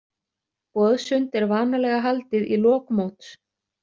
Boðsund er vanalega haldið í lok móts.